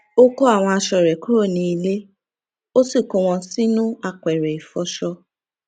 ó kó àwọn aṣọ rè kúrò ní ilè ó sì kó wọn sínú apèrè ìfọṣọ